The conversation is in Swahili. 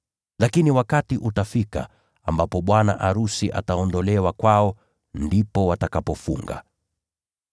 Lakini wakati utafika ambapo bwana arusi ataondolewa kwao. Hapo ndipo watakapofunga.”